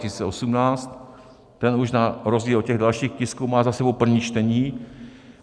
Ten už na rozdíl od těch dalších tisků má za sebou první čtení.